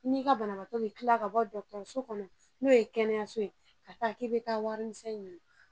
I n'i ka banabaatɔ bɛ kila ka bɔ dɔgɔtɔrɔso kɔnɔ, n'o ye kɛnɛyaso ye ka taa k'i bɛ taa wari misɛn ɲini.